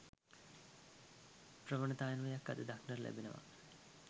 ප්‍රවණතාවක් අද දක්නට ලැබෙනවා